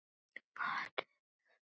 Varð fyrir bátnum.